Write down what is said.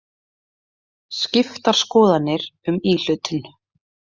Skiptar skoðanir um íhlutun